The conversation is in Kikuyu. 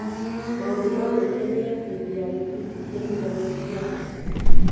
Maũndũ ma Gwĩkenia hĩndĩ ya gĩbindi kĩa Intaneti ya andũ.